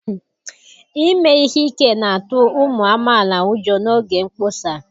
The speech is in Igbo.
Ime ihe ike na-atụ ụmụ amaala ụjọ n'oge mkpọsa